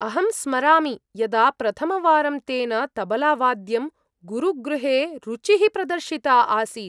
अहं स्मरामि यदा प्रथमवारं तेन तबलावाद्यं गुरुगृहे रुचिः प्रदर्शिता आसीत्।